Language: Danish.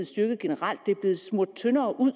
styrket generelt det er blevet smurt tyndere ud